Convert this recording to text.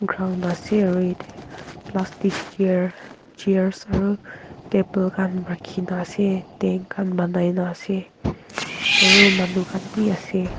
ground ase aro etyeh plastic chair chairs aro table khan rakhi na ase tent khan banaina ase aro manu khan bhi ase.